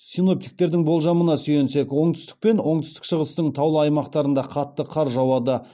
синоптиктердің болжамына сүйенсек оңтүстік пен оңтүстік шығыстың таулы аймақтарында қатты қар жауады